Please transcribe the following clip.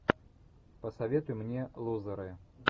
посоветуй мне лузеры